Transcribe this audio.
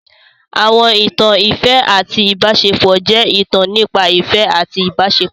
Àwọn ìtàn ìfẹ́ àti ìbáṣepọ̀ jẹ́ ìtàn nípa ìfẹ́ àti ìbáṣepọ̀.